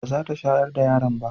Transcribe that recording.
ba za ta shayar da yaron ba